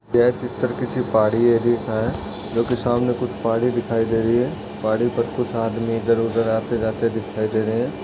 यह चित्र किसी पहाड़ी एरिया का है जोकि सामने कुछ पहाड़ी दिखाई दे रही है पहाड़ी पर कुछ आदमी इधर उधर आते जाते दिखाई दे रहें हैं।